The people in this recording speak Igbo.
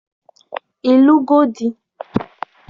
Ị lụgo di?